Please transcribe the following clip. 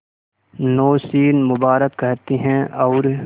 नौशीन मुबारक कहते हैं और